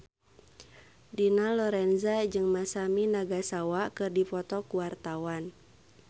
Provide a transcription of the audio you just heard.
Dina Lorenza jeung Masami Nagasawa keur dipoto ku wartawan